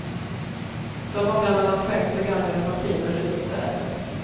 De har bland annat skänkt begagnade maskiner och utsäde.